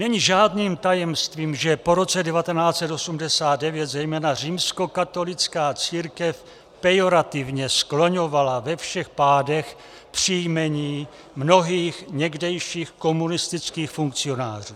Není žádným tajemstvím, že po roce 1989 zejména římskokatolická církev pejorativně skloňovala ve všech pádech příjmení mnohých někdejších komunistických funkcionářů.